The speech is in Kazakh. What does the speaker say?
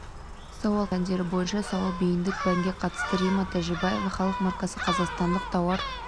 сауал қарастырылған оның жалпы пәндер бойынша сауал бейіндік пәнге қатысты римма тәжібаева халық маркасы қазақстандық тауар